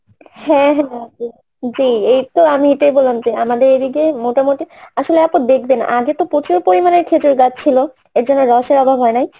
হ্যাঁ হ্যাঁ এই তো আমি এইটাই বললাম যে আমাদের এইদিকে মোটামুটি আসলে অত দেখবেনা আগে তো প্রচুর পরিমানে খেজুর গাছ ছিলো এইজন্যে রসের অভাব হয় নাই